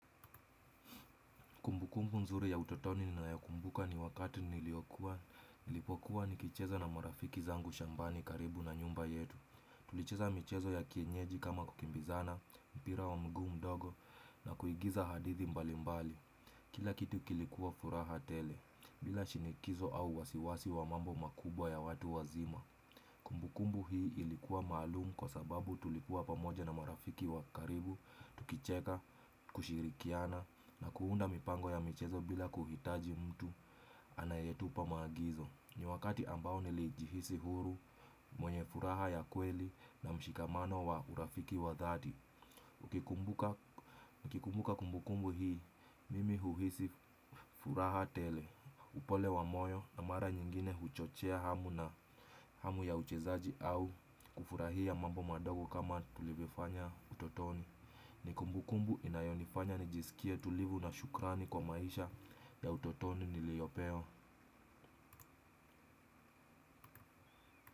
Kumbukumbu mzuri ya utotoni ninayokumbuka ni wakati niliokua, nilipokuwa nikicheza na marafiki zangu shambani karibu na nyumba yetu. Tulicheza michezo ya kienyeji kama kukimbizana, mpira wa mguu mdogo na kuigiza hadithi mbali mbali. Kila kitu kilikuwa furaha tele, bila shinikizo au wasiwasi wa mambo makubwa ya watu wazima. Kumbukumbu hii ilikuwa maalumu kwa sababu tulikuwa pamoja na marafiki wakaribu, tukicheka, kushirikiana na kuunda mipango ya michezo bila kuhitaji mtu anayetupa maagizo. Ni wakati ambao nilijihisi huru, mwenye furaha ya kweli na mshikamano wa urafiki wa dhati. Nikikumbuka kumbukumbu hii, mimi huhisi furaha tele. Upole wa moyo na mara nyingine huchochea hamu na hamu ya uchezaji au kufurahia mambo madogo kama tulivyofanya utotoni. Ni kumbukumbu inayonifanya nijisikie tulivu na shukrani kwa maisha ya utotoni niliyopewa.